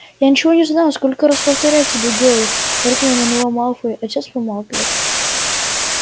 я ничего не знаю сколько раз повторять тебе гойл рыкнул на него малфой а отец помалкивает